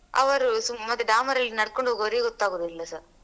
ಅವರು ಸುಮ್ಮಗೆ Damar ಅಲ್ಲಿ ನಡ್ಕೊಂಡ್ಹೋಗ್ವರಿಗೆ ಗೊತ್ತಗುದು ಎಲ್ಲಸ.